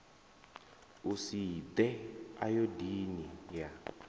a si ḓe ayodini yo